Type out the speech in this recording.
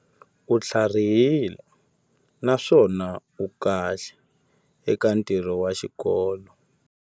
U tlharihile naswona u kahle eka ntirho wa xikolo.